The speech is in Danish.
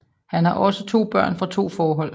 Han har også to børn fra to forhold